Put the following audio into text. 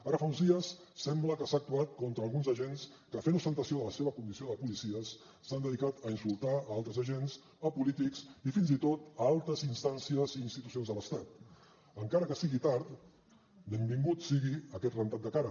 ara fa uns dies sembla que s’ha actuat contra alguns agents que fent ostentació de la seva condició de policies s’han dedicat a insultar altres agents polítics i fins i tot altes instàncies i institucions de l’estat encara que sigui tard benvingut sigui aquest rentat de cara